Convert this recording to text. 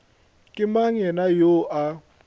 ke mang yena yoo a